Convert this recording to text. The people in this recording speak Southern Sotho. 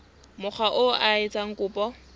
mokga oo a etsang kopo